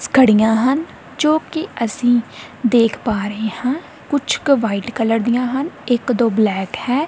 ਘੜਿਆਂ ਹਨ ਜੋ ਕੀ ਅੱਸੀ ਦੇਖ ਪਾ ਰਹੇ ਹਾਂ ਕੁਛੱਕ ਵ੍ਹਾਈਟ ਕਲਰ ਦੀਆਂ ਹਨ ਇੱਕ ਦੋ ਬਲੈਕ ਹੈਂ।